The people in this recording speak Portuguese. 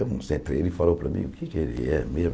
ele falou para mim o que é que ele é mesmo.